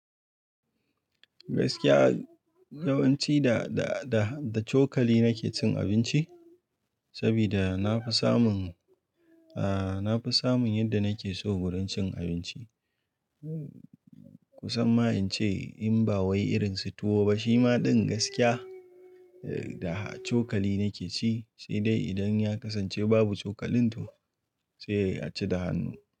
Gaskiya yawanci da, da, da, da cokali nake cin abinci saboda na fi samun, aa na fi samun yadda nake so wurin cin abinci. Kusan ma in ce in ba wai irin su tuwo ba shima ɗin gaskiya da cokali nake ci, sai dai idan ya kasance babu cokalin to sai a ci da hannu.